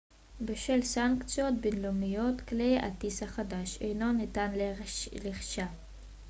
בשל סנקציות בינלאומיות כלי הטיס החדש אינו ניתן לרכישה